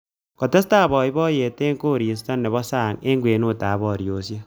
Kotestai boiboiyet eng koristo nebo sang eng kwenutab boriosiek